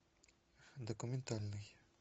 документальный